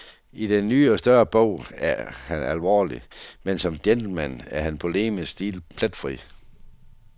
I den ny og større bog er han alvorlig, men som gentleman er hans polemiske stil pletfri.